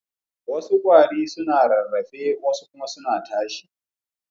Wassu kwarare suna rarrafe wasu kuma suna tashiwa.